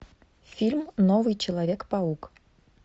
фильм новый человек паук